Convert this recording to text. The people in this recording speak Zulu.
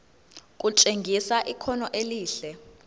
kutshengisa ikhono elihle